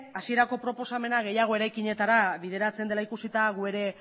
hasierako proposamena gehiago eraikinetara bideratzen dela ikusita gu ere